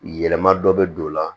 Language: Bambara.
Yɛlɛma dɔ bɛ don o la